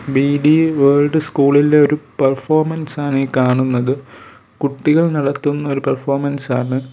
BD world സ്കൂളിലെ ഒരു performance ആണ് ഈ കാണുന്നത് കുട്ടികൾ നടത്തുന്ന ഒരു പെർഫോമൻസ് ആണ്.